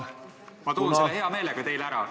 Ma toon selle hea meelega teile ära.